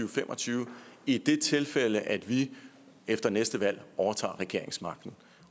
og fem og tyve i det tilfælde at vi efter næste valg overtager regeringsmagten